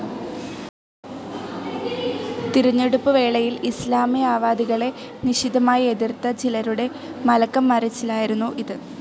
തിരഞ്ഞെടുപ്പുവേളയിൽ ഇസ്‌ലാമിയാവാദികളെ നിശിതമായി എതിർത്ത ചിലരുടെ മലക്കംമറിച്ചിലായിരുന്നു ഇത്.